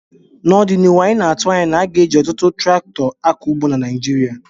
N' ọdịnihu anyị na-atụ anya na a ga-eji ọtụtụ traktọ akọ ugbo na Naijiria